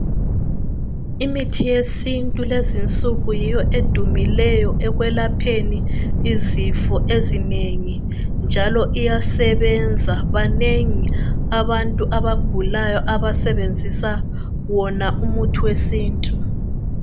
Imithi yesintu lezi insuku yiyo edumileyo ekwelapheni izifo ezinengi njalo iyasebenza banengi abantu abagulayo abasebenzisa wona umuthi wesintu.